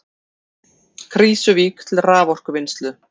Krýsuvík til raforkuvinnslu.